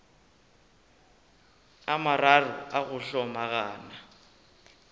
a mararo a go hlomagana